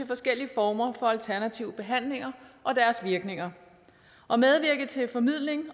forskellige former for alternative behandlinger og deres virkninger og medvirke til formidling